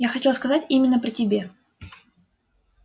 я хотел сказать именно при тебе